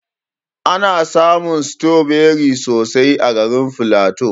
Ana samun stroberi sosai a garin flatu.